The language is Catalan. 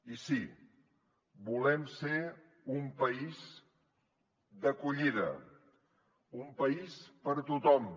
i sí volem ser un país d’acollida un país per a tothom